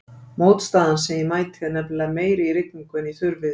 Mótstaðan sem ég mæti er nefnilega meiri í rigningu en í þurrviðri.